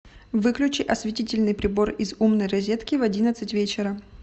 выключи осветительный прибор из умной розетки в одиннадцать вечера